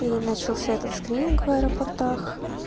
и начался этот скрининг в аэропортах